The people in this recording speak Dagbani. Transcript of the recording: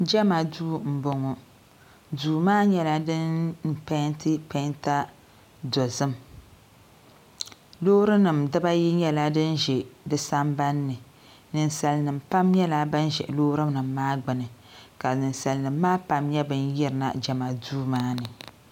Jema duu m boŋɔ duu maa nyɛla si penti penta dozim loori nima dibaayi nyɛla din za di sambani ninsalinima pam nyɛla ban za loori nima maa gbini ka ninsalinima maa pam nyɛla ban yirina jema duu maani.